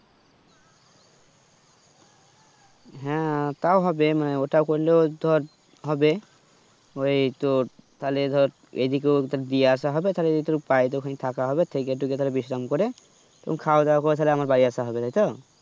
হ্যাঁ তাও হবে মানে ওটা করলেও ধর হবে ওই তোর তালে ধর ঐদিকেও দিয়ে আসাহবে তাহলে যদি পারি তো ওখানে থাকা হবে থেকে টেকে তাহলে বিশ্রাম করে খাওয়া দাওয়া করে আমার বাড়ি আসা হবে তাইতো